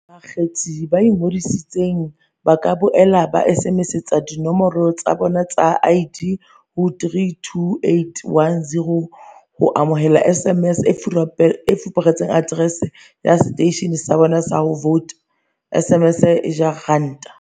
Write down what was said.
Bakgethi ba ingodisitseng ba ka boela ba SMSetsa dinomoro tsa bona tsa ID ho 32810 ho amohela SMS e fupereng aterese ya seteishene sa bona sa ho vouta, SMS e ja R1.